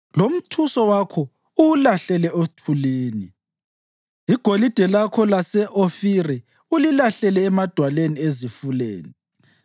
lomthuso wakho uwulahlele othulini, igolide lakho lase-Ofiri ulilahlele emadwaleni ezifuleni,